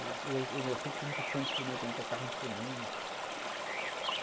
Eu sempre fui muito fã de instrumento, então, eu tocava no instrumento.